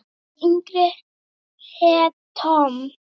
Sá yngri hét Tom.